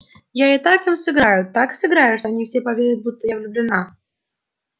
а я так им сыграю так сыграю что они все поверят будто я влюблена